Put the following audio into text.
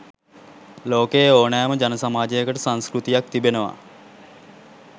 ලෝකයේ ඕනෑම ජන සමාජයකට සංස්කෘතියක් තිබෙනවා.